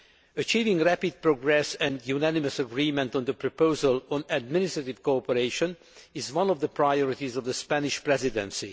Achieving rapid progress and unanimous agreement on the proposal on administrative cooperation is one of the priorities of the Spanish Presidency.